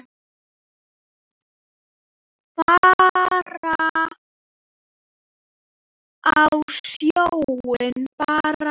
Fara á sjóinn bara.